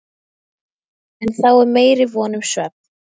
En þá er meiri von um svefn.